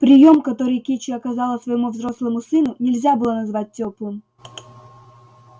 приём который кичи оказала своему взрослому сыну нельзя было назвать тёплым